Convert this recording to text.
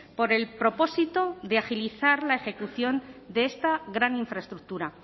por el propósito de agilizar la ejecución de esta gran infraestructura